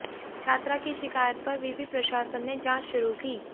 छात्रा की शिकायत पर विवि प्रशासन ने जांच शुरू की